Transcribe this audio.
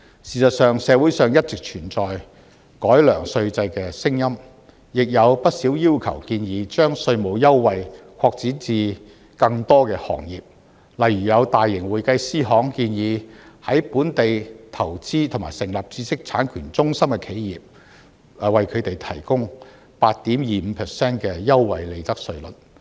事實上，社會上一直存在改良稅制的聲音，亦有不少要求建議將稅務優惠擴展至更多行業，例如有大型會計師行建議對在本地投資和成立知識產權中心的企業，提供 8.25% 的優惠利得稅稅率。